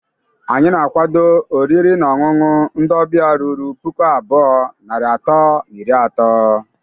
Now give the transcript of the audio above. Anyi na-akwado oriri na ọṅụṅụ ndi ọbịa ruru puku abụọ, narị atọ na iri atọ